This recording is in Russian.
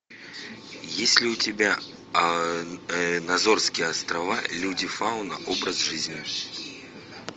есть ли у тебя азорские острова люди фауна образ жизни